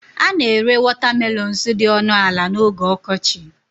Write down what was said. A na-ere watermelons dị ọnụ ala n'oge ọkọchị